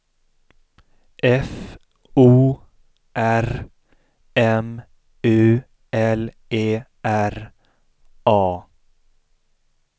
F O R M U L E R A